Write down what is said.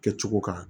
Kɛcogo kan